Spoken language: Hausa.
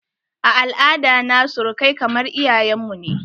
A al'ada na surukai kamar iyayen mu ne.